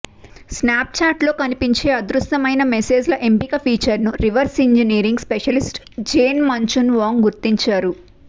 స్నాప్చాట్లో కనిపించే అదృశ్యమైన మెసేజ్ల ఎంపిక ఫీచర్ ను reverse engineering specialist Jane Manchun Wong గుర్తించారు